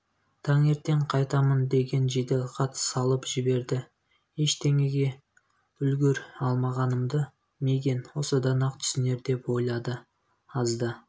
таңертең қайтамын деген жеделхат салып жіберді ештеңеге үлгір алмағанымды мигэн осыдан-ақ түсінер деп ойлады аз да